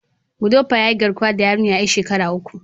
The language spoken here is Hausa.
Gudopwa ya yi garkuwa da yarinyar yar shekara uku.